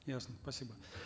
ясно спасибо